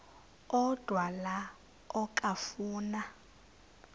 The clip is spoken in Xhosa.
odwa la okafuna